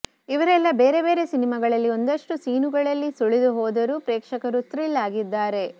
ಇವರೆಲ್ಲ ಬೇರೆ ಬೇರೆ ಸಿನಿಮಾಗಳಲ್ಲಿ ಒಂದಷ್ಟು ಸೀನುಗಳಲ್ಲಿ ಸುಳಿದು ಹೋದರೂ ಪ್ರೇಕ್ಷಕರು ಥ್ರಿಲ್ ಆಗಿದ್ದಾರೆ